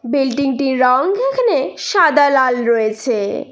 Building -টির রঙ এখানে সাদা লাল রয়েছে।